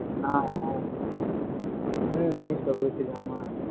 ஆஹ் அஹ் ஹம் ஹம் newspaper வச்சிருக்காம்மா